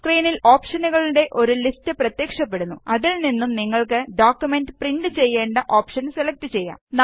സ്ക്രീനില് ഓപ്ഷനുകളുടെ ഒരു ലിസ്റ്റ് പ്രത്യക്ഷപ്പെടുന്നു അതില് നിന്നും നിങ്ങൾക്ക് ഡോക്കുമെന്റ് പ്രിന്റ് ചെയ്യേണ്ട ഓപ്ഷന് സെലക്ട് ചെയ്യാം